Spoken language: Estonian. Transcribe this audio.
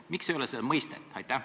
Miks ei ole seda mõistet?